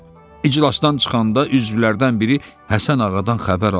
İclasdan çıxanda üzvlərdən biri Həsən ağadan xəbər aldı.